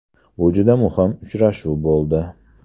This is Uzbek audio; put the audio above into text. Bu juda muhim uchrashuv bo‘ldi.